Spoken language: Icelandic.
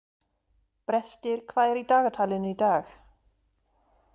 Brestir, hvað er í dagatalinu í dag?